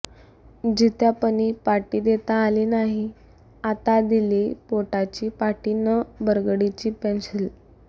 जित्यापनी पाटी देता आली नाही आता दिलीय पोटाची पाटी न बरगडी ची पेंशील